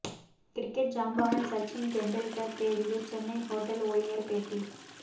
cricket ஜாம்பவான் சச்சின் டெண்டுல்கர் தேடிய Chennai hotel ஊழியர் பேட்டி